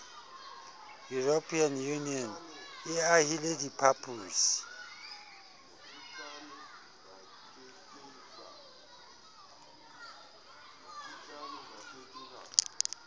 european union le ahile diphaposi